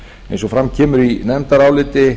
eins og fram kemur í nefndaráliti